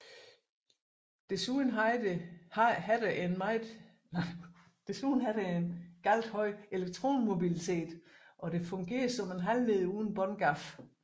Desuden har det en meget høj elektronmobilitet og det fungerer som en halvleder uden båndgab